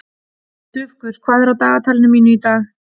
Dufgus, hvað er á dagatalinu mínu í dag?